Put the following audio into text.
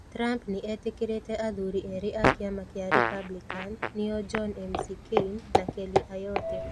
Trump nĩ etĩkĩrĩte athuri erĩ a kĩama kĩa Republican nĩo John McCain na Kelly Ayotte.